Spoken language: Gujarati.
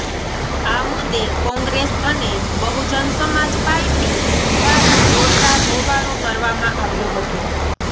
આ મુદ્દે કોંગ્રેસ અને બહુજન સમાજ પાર્ટી દ્વારા જોરદાર હોબાળો કરવામાં આવ્યો હતો